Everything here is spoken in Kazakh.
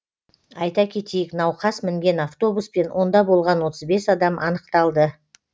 айта кетейік науқас мінген автобус пен онда болған отыз бес адам анықталды